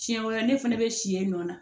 Siɲɛ wɛrɛ ne fana bɛ si yen nɔ